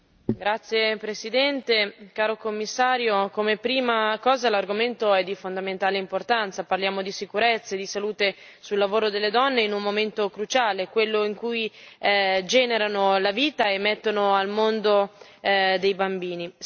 Signor Presidente, onorevoli colleghi, caro Commissario, come prima cosa l'argomento è di fondamentale importanza parliamo di sicurezze, di salute sul lavoro delle donne in un momento cruciale, quello in cui generano la vita e mettono al mondo dei bambini.